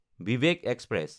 Vivek express